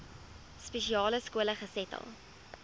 spesiale skole gesetel